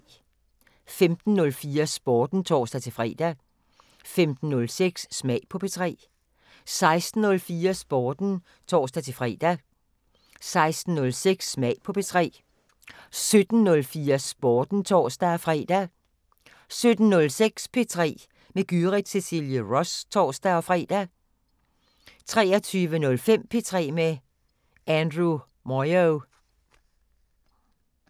15:04: Sporten (tor-fre) 15:06: Smag på P3 16:04: Sporten (tor-fre) 16:06: Smag på P3 17:04: Sporten (tor-fre) 17:06: P3 med Gyrith Cecilie Ross (tor-fre) 23:05: P3 med Andrew Moyo